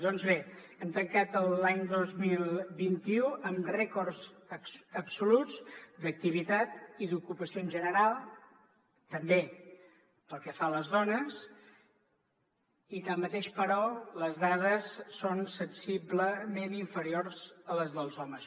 doncs bé hem tancat l’any dos mil vint u amb rècords absoluts d’activitat i d’ocupació en general també pel que fa a les dones i tanmateix però les dades són sensiblement inferiors a les dels homes